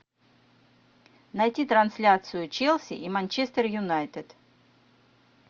найти трансляцию челси и манчестер юнайтед